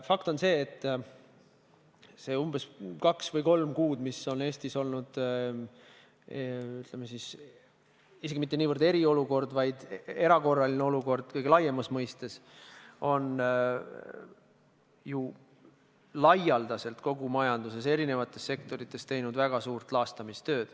Fakt on see, et need kaks või kolm kuud, mis Eestis on olnud, ütleme siis, mitte niivõrd eriolukord, kuivõrd erakorraline olukord kõige laiemas mõistes, on ju kogu majanduses eri sektorites aset leidnud väga suur laastamistöö.